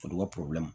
Foro ka